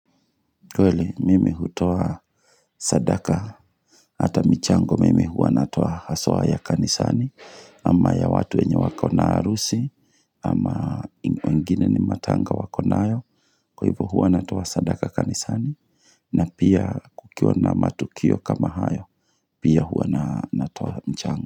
Kweli, mimi hutoa sadaka, hata michango mimi huwa natoa haswa ya kanisani, ama ya watu wenye wakona harusi, ama wengine ni matanga wakonayo, kwa hivo huwa natoa sadaka kanisani, na pia kukiwa na matukio kama hayo, pia huwa natoa mchango.